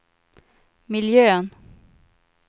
miljön